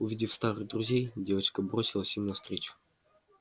увидев старых друзей девочка бросилась им навстречу